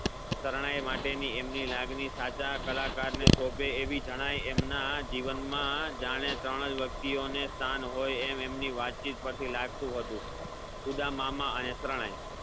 શરણાઈ માટે ની એમની લાગણી સાચા કલાકાર ને શોભે એવી જણાય એમના જીવનના જાણે ત્રણ અજ વ્યક્તિઓ ને સ્થાન હોઈ એમ એમની વાતચીત પરથી લાગતું હતુ ઉદ્દમામાં અને શરણાઈ